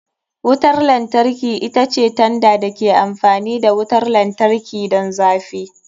Wutar lantarki ita ce tanda da ke amfani da wutar lantarki don zafi.